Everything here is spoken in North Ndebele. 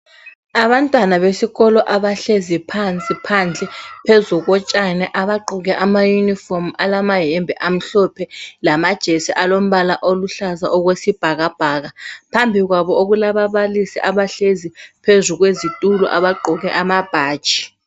Abantwana besikolo abahlezi phansi phandle phezukotshani abagqoke amayunifomu alamayembe amhlophe lamajesi alombala oluhlaza okwesibhakabhaka phambi kwabo okulababalisi abahlezi phezu kwezitulo abaqgoke amabhatshi.